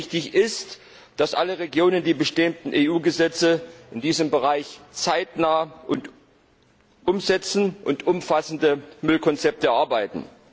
Wichtig ist, dass alle Regionen die bestehenden EU Gesetze in diesem Bereich zeitnah umsetzen und umfassende Müllkonzepte erarbeiten.